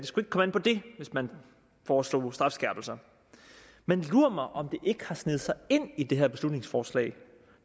skulle komme an på det hvis man foreslog strafskærpelser men lur mig om det ikke har sneget sig ind i det her beslutningsforslag